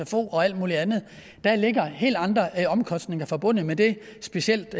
sfo og alt muligt andet der ligger helt andre omkostninger forbundet med det specielt